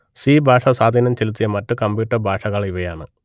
C ഭാഷ സ്വാധീനം ചെലുത്തിയ മറ്റു കമ്പ്യൂട്ടർ ഭാഷകൾ ഇവയാണ്